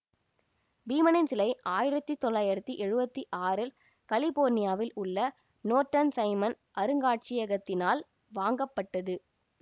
பீமனின் சிலை ஆயிரத்தி தொள்ளாயிரத்தி எழுவத்தி ஆறில் கலிபோர்னியாவில் உள்ள நோர்ட்டன் சைமன் அருங்காட்சியகத்தினால் வாங்கப்பட்டது